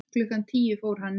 Klukkan tíu fór hann niður.